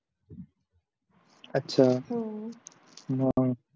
अच्छा हम्म म